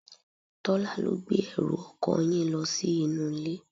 Tola ló gbé ẹrù ọkọ yín lo sí inú ilé.